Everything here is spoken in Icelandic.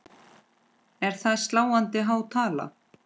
Er það sláandi há tala.